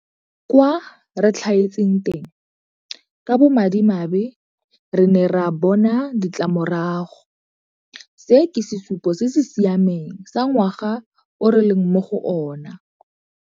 Kwa re tlhaetseng teng, ka bomadimabe, re ne ra bona ditlamorago. Se ke sesupo se se siameng sa ngwaga o re leng mo go ona.